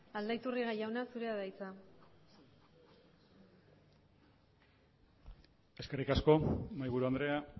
aldaiturriaga jauna zurea da hitza eskerrik asko mahaiburu andrea